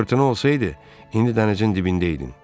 Fırtına olsaydı, indi dənizin dibində idin.